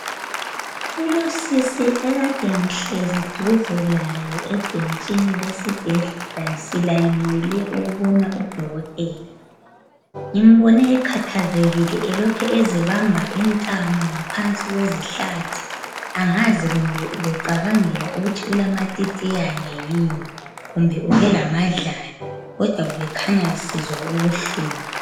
Kulontombazane akade ngihlezi duze laye ebhentshini silayinele ukubona udokotela ngimbone ekhathazekile elokhe ezibamba intamo ngaphansi kwezihlathi angazi kumbe ubecabangela ukuthi ulamatitiyani yini kumbe ubelamadlala kodwa ubekhanya esizwa ubuhlungu